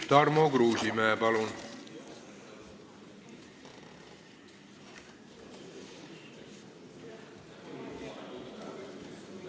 Tarmo Kruusimäe, palun!